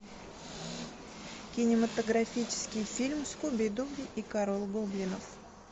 кинематографический фильм скуби ду и король гоблинов